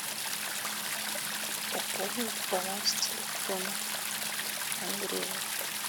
пополнить баланс телефона андрею